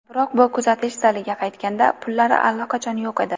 Biroq u kutish zaliga qaytganda, pullari allaqachon yo‘q edi.